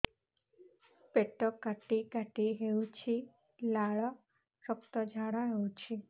ପେଟ କାଟି କାଟି ହେଉଛି ଲାଳ ରକ୍ତ ଝାଡା ହେଉଛି